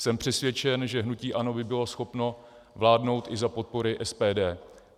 Jsem přesvědčen, že hnutí ANO by bylo schopno vládnout i za podpory SPD.